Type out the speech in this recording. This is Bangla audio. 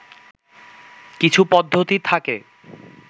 কিছু পদ্ধতি থাকে